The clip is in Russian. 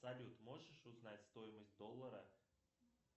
салют можешь узнать стоимость доллара